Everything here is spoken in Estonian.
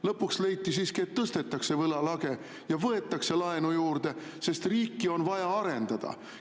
Lõpuks leiti siiski, et tõstetakse võlalage ja võetakse laenu juurde, sest riiki on vaja arendada.